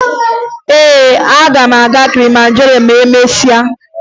Ee, aga m aga Kilimanjaro ma emesịa